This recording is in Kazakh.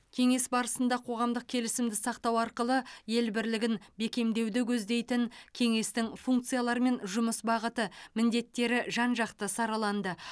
кеңес барысында қоғамдық келісімді сақтау арқылы ел бірлігін бекемдеуді көздейтін кеңестің функциялары мен жұмыс бағыты міндеттері жан жақты сараланды